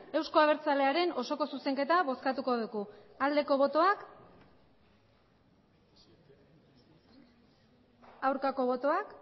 euzko abertzalearen osoko zuzenketa bozkatuko dugu aldeko botoak aurkako botoak